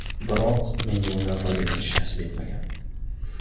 Biroq menga undan foydalanish nasib etmagan.